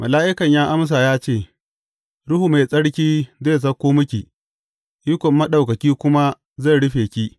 Mala’ikan ya amsa ya ce, Ruhu Mai Tsarki zai sauko miki, ikon Maɗaukaki kuma zai rufe ke.